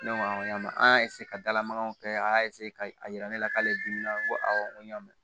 Ne ko n ko y'a mɛn an y'a ka dalamagaw kɛ a y'a k'a yira ne la k'ale dimina n ko awɔ n ko n y'a mɛn